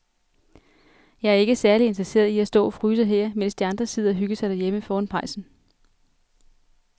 Jeg er ikke særlig interesseret i at stå og fryse her, mens de andre sidder og hygger sig derhjemme foran pejsen.